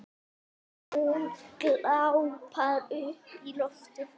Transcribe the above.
Hún glápir upp í loftið.